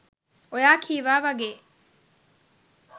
ඔයා කීවා වගේ